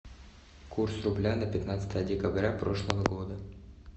курс рубля на пятнадцатое декабря прошлого года